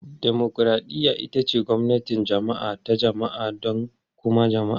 Dimokuraɗiyya ita ce gwamnatin jama'a ta jama'a don kuma jama'a.